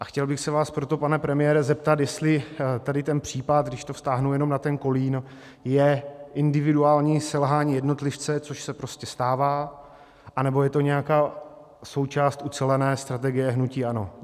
A chtěl bych se vás proto, pane premiére, zeptat, jestli tady ten případ, když to vztáhnu jenom na ten Kolín, je individuální selhání jednotlivce, což se prostě stává, anebo je to nějaká součást ucelené strategie hnutí ANO.